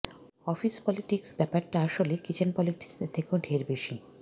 office politics ব্যাপারটা আসলে kitchen পলিটিক্সের থেকেও ঢের বেশি